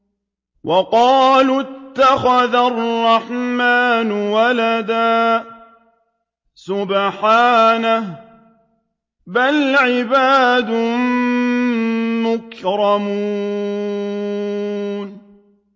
وَقَالُوا اتَّخَذَ الرَّحْمَٰنُ وَلَدًا ۗ سُبْحَانَهُ ۚ بَلْ عِبَادٌ مُّكْرَمُونَ